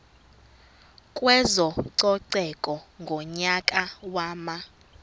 kwezococeko ngonyaka wama